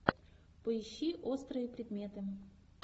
поищи острые предметы